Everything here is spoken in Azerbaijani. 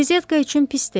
Qrizetka üçün pis deyil.